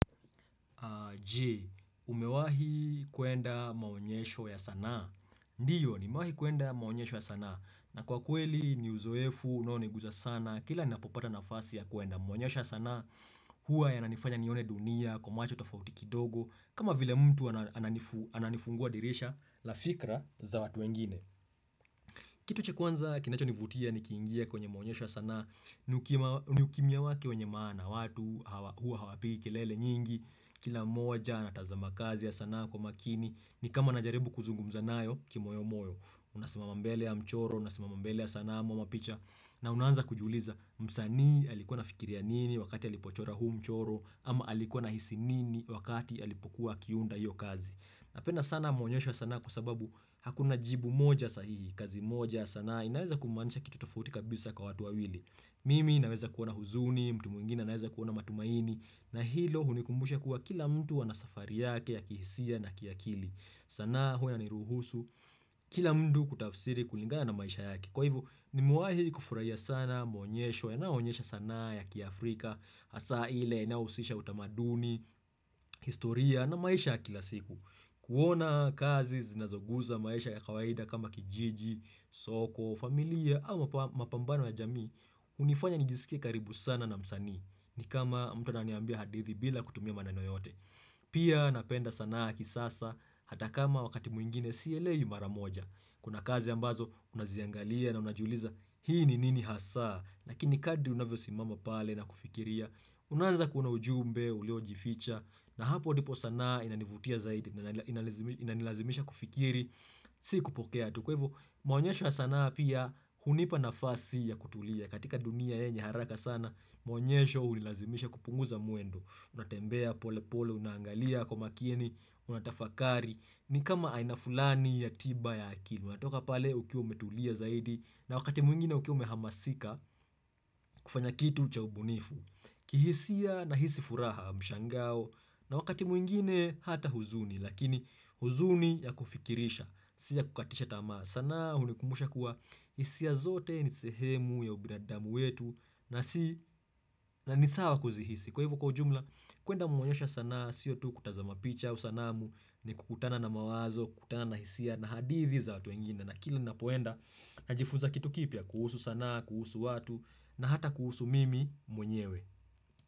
Je. Umewahi kwenda maonyesho ya sanaa. Ndiyo nimewahi kuenda maonyesho ya sanaa. Na kwa kweli ni uzoefu unaoniguza sanaa kila ni napopata nafasi ya kuenda maonyesho ya sanaa hua yananifanya nione dunia kwa macho tofauti kidogo kama vile mtu ananifungua dirisha la fikra za watu wengine. Kitu cha kwanza kinacho nivutia ni kiingie kwenye maonyesha sana, ni ukimya wakie wenye maana, watu hua hawapiki, lele nyingi, kila moja anatazama kazi ya sanaa kwa makini, ni kama na jaribu kuzungu mzanayo kimo yomoyo, unasima mambele ya mchoro, unasima mambele ya sanamu ama picha, na unanza kujuliza msani alikuwa na fikiria nini wakati alipochora huu mchoro, ama alikuwa na hisi nini wakati alipokuwa kiunda hiyo kazi. Napenda sana maonyesho sana kwa sababu hakuna jibu moja sahihi, kazi moja sana inaweza kumanisha kitu tofuti kabisa kwa watu wa wili. Mimi inaweza kuona huzuni, mtu mwingine inaweza kuona matumaini, na hilo hunikumbusha kuwa kila mtu anasafari yake ya kihisia na kiakili. Sanaa huwa inaruhusu kila mtu kutafsiri kulingana na maisha yake. Kwa hivu, nimuahi kufurahia sana, mwonyesho, enaonyesha sana ya kia Afrika, hasa ile, inahusisha utamaduni, historia na maisha kila siku. Kuona kazi zinazoguza maisha ya kawaida kama kijiji, soko, familia au mapambano ya jamii, hunifanya nijisikie karibu sana na msanii. Ni kama mtu na niambia hadithi bila kutumia manano yote. Pia napenda sana ya ki sasa, hata kama wakati mwingine sielewi maramoja. Kuna kazi ambazo unaziangalia na unajuliza hii ni nini hasa Lakini kadri unavyo simama pale na kufikiria Unaanza kuona ujumbe, uliojificha na hapo ndipo sanaa inanivutia zaidi Inanilazimisha kufikiri, si kupokea tuko kwa hivo, maonyesho yasanaa pia hunipa na fasi ya kutulia katika dunia yenye haraka sana Maonyesho ulilazimisha kupunguza muendo Unatembea pole pole, unangalia kwa makini, unatafakari ni kama aina fulani ya tiba ya akili unatoka pale ukiwa umetulia zaidi na wakati mwingine ukiwa ume hamasika kufanya kitu chau bunifu kihisia na hisi furaha mshangao na wakati mwingine hata huzuni Lakini huzuni ya kufikirisha Sia kukatisha tamaa sanaa hunikumbusha kuwa hisia zote ni sehemu ya ubinadamu wetu na nisawa kuzihisi Kwa hivo kwa jumla kuenda mwonyesho sanaa Sio tu kutazama picha Usanamu ni kukutana na mawazo kutana hisia na hadithi za watu wengine na kila ninapoenda na jifunza kitu kipya kuhusu sana kuhusu watu na hata kuhusu mimi mwenyewe.